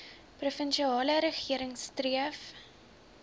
provinsiale regering streef